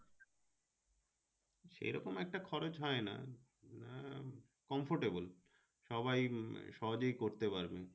সেরকম একটা খরচ হয় না, আহ comfortable সবাই সহজেই করতে পারবে